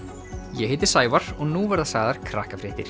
ég heiti Sævar og nú verða sagðar